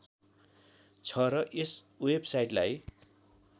छ र यस वेबसाइटलाई